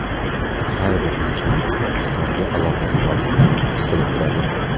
Har bir inson islomga aloqasi borligini his qilib turadi.